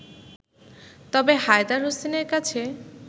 তবে হায়দার হোসেনের কাছে